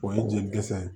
O ye jelikisɛ ye